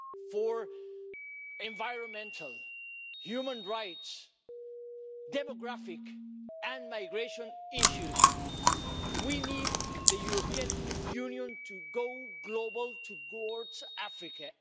On environmental, human rights, demographic and migration issues, we need the European Union to go global in relation to Africa.